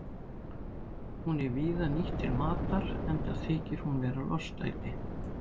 Hún er víða nýtt til matar enda þykir hún vera lostæti.